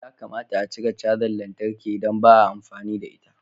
Ya kamata a cire cajar lantarki idan ba a amfani da ita.